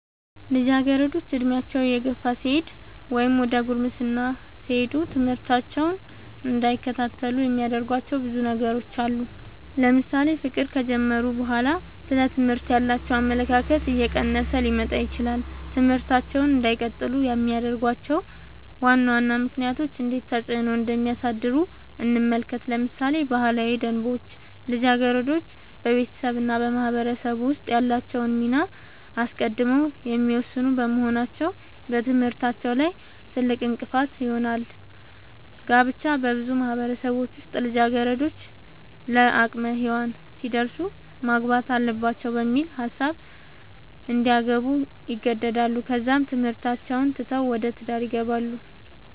ልጃገረዶች ዕድሜያቸው እየገፋ ሲሄድ ወይም ዘደ ጉርምስና ሲሄዱ ትምህርታቸውን እንዳይከታተሉ የሚያደርጉዋቸው ብዙ ነገሮች አሉ ለምሳሌ ፍቅር ከጀመሩ በኋላ ስለ ትምህርት ያላቸው አመለካከት እየቀነሰ ሊመጣ ይችላል ትምህርታቸውን እንዳይቀጥሉ የሚያደርጉዋቸው ዋና ዋና ምክንያቶች እንዴት ተፅዕኖ እንደሚያሳድሩ እንመልከት ለምሳሌ ባህላዊ ደንቦች ልጃገረዶች በቤተሰብ እና በማህበረሰብ ውስጥ ያላቸውን ሚና አስቀድመው የሚወስኑ በመሆናቸው በትምህርታቸው ላይ ትልቅእንቅፋት ይሆናል። ጋብቻ- በብዙ ማህበረሰቦች ውስጥ ልጃገረዶች ለአቅመ ሄዋን ሲደርሱ ማግባት አለባቸው በሚል ሀሳብ እንዲያገቡ ይገደዳሉ ከዛም ትምህርታቸውን ትተው ወደ ትዳር ይገባሉ።